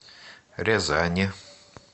рязани